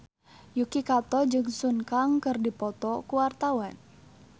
Yuki Kato jeung Sun Kang keur dipoto ku wartawan